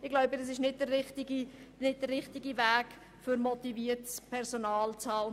Ich denke, dies ist nicht der richtige Weg, um motiviertes Personal zu behalten.